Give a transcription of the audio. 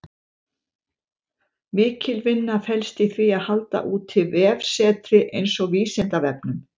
Mikil vinna felst í því að halda úti vefsetri eins og Vísindavefnum.